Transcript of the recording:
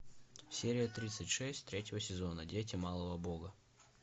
серия тридцать шесть третьего сезона дети малого бога